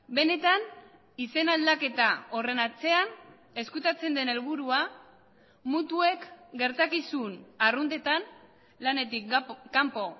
benetan izen aldaketa horren atzean ezkutatzen den helburua mutuek gertakizun arruntetan lanetik kanpo